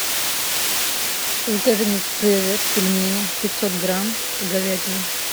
закажи мне цезарь пельмени пятьсот грамм с говядиной